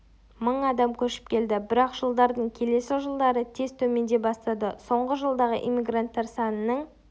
мың адам көшіп келді бірақ жылдардың келесі жылдары тез төмендей бастады соңғы жылдағы иммигранттар санының